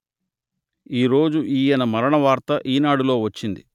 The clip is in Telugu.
ఈరోజు ఈయన మరణ వార్త ఈనాడు లో వచ్చింది